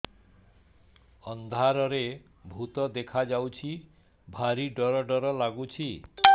ଅନ୍ଧାରରେ ଭୂତ ଦେଖା ଯାଉଛି ଭାରି ଡର ଡର ଲଗୁଛି